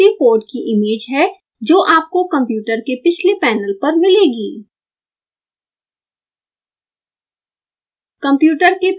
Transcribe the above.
यहाँ usb port कि image है जो आपको कंप्यूटर के पिछले पैनल पर मिलेगी